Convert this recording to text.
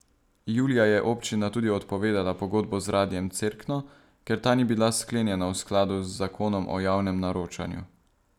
Julija je občina tudi odpovedala pogodbo z Radiem Cerkno, ker ta ni bila sklenjena v skladu z zakonom o javnem naročanju.